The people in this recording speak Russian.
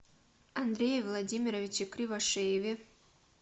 андрее владимировиче кривошееве